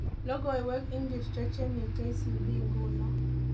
Logoiwek ingircho chemii k.c.b nguno